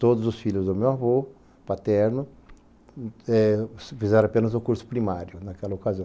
Todos os filhos do meu avô, paterno, eh fizeram apenas o curso primário naquela ocasião.